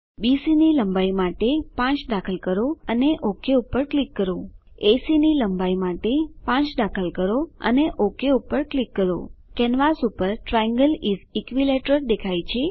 એસી ની લંબાઈ માટે 5 દાખલ કરો અને ઓક પર ક્લિક કરો કેનવાસ પર ટ્રાયેંગલ ઇસ ઇક્વિલેટરલ દેખાય છે